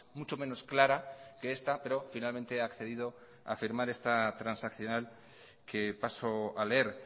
mucho menos clara que esta pero finalmente ha accedido a firmar esta transaccional que paso a leer